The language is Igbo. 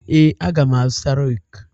Ee, aga m azụta reeku.